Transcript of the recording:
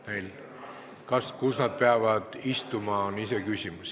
See, kus nad istuma peavad, on iseküsimus.